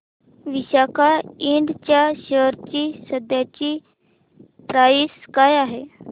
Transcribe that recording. Visaka Ind च्या share ची सध्याची प्राइस काय आहे